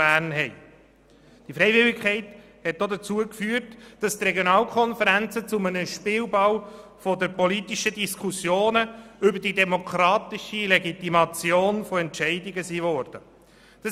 Zudem hat sie dazu geführt, dass die Regionalkonferenzen zu einem Spielball politischer Diskussionen über die demokratische Legitimation von Entscheidungen geworden sind.